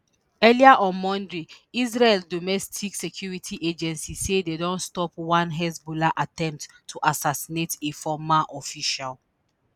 earlier on monday israel domestic security agency say dem stop one hezbollah attempt to assassinate a former official